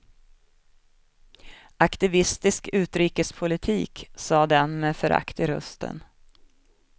Aktivistisk utrikespolitik, sa den med förakt i rösten.